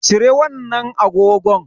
Cire wannan agogon.